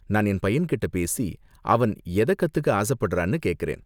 நான் என் பையன்கிட்ட பேசி, அவன் எத கத்துக்க ஆசப்படுறான்னு கேக்கறேன்.